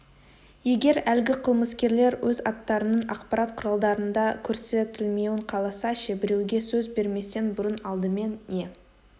егер әлгі қылмыскерлер өз аттарының ақпарат құралдарында көрсетілмеуін қаласа ше біреуге сөз берместен бұрын алдымен не